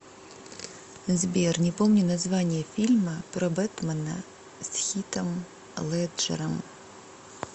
сбер не помню название фильма про бэтмэна с хитом леджером